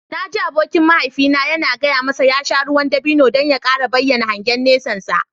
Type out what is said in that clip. Na ji abokin mahaifina yana gaya masa ya sha ruwan dabino don ya kara bayyana hangen nesansa.